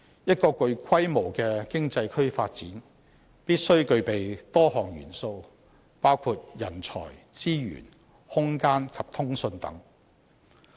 一個具規模的經濟區發展，必須具備多項元素，包括人才、資源、空間及通訊等。